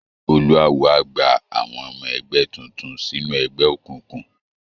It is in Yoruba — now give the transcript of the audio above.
Olúawo á gba àwọn ọmọ ẹgbẹ́ tuntun sínú ẹgbẹ́ òkùnkùn